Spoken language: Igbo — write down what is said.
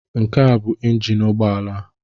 Nke a bụ ịnjin ụgbọala a.